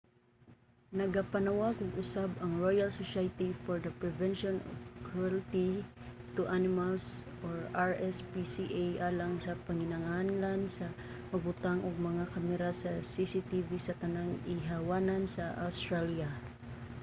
nagapanawag og usab ang royal society for the prevention of cruelty to animals rspca alang sa panginahanglan sa pagbutang og mga kamera sa cctv sa tanang ihawanan sa awstralya